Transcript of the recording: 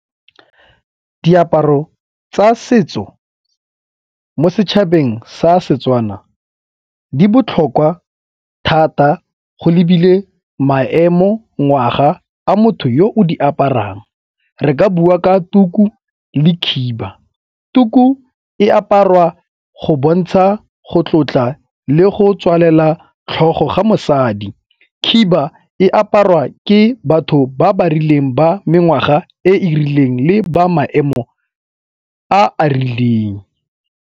Diaparo tsa setso mo setšhabeng sa Setswana di botlhokwa thata go lebile maemo ngwaga a motho yo o di aparang, re ka bua ka tuku le khiba. Tuku e aparwa go bontsha go tlotla le go tswalela tlhogo ga mosadi, khiba e aparwa ke batho ba ba rileng ba mengwaga e e rileng le ba maemo a a rileng.